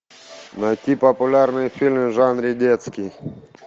найти популярные фильмы в жанре детский